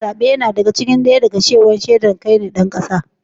Katin zaɓe yana ɗaya daga cikin shaidar kasancewar ka ɗan ƙasa.